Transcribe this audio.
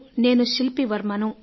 నేను శిల్పీవర్మను